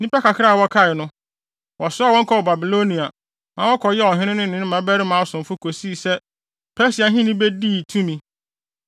Nnipa kakra a wɔkae no, wɔsoaa wɔn kɔɔ Babilonia, ma wɔkɔyɛɛ ɔhene no ne ne mmabarima asomfo kosii sɛ Persia ahenni bedii tumi.